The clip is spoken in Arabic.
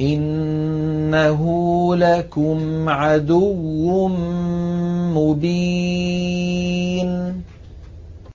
إِنَّهُ لَكُمْ عَدُوٌّ مُّبِينٌ